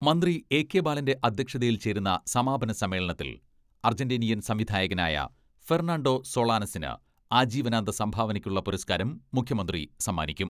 മന്ത്രി എ കെ ബാലന്റെ അധ്യക്ഷതയിൽ ചേരുന്ന സമാപന സമ്മേളനത്തിൽ അർജന്റീനിയൻ സംവിധായകനായ ഫെർണാണ്ടോ സൊളാനസിന് ആജീവനാന്ത സംഭാവനയ്ക്കുള്ള പുരസ്ക്കാരം മുഖ്യമന്ത്രി സമ്മാനിക്കും.